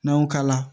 N'an y'o kala